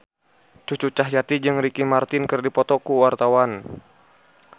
Cucu Cahyati jeung Ricky Martin keur dipoto ku wartawan